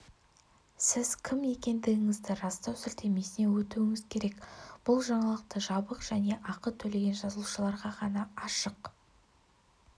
сіз кім екендігіңізді растау сілтемесіне өтуіңіз керек бұл жаңалық жабық және ақы төлеген жазылушыларға ғана ашық